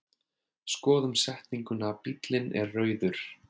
Skoðum setninguna bíllinn er rauður.